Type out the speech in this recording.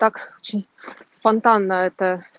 так очень спонтанно это